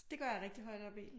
Så det går jeg rigtig højt op i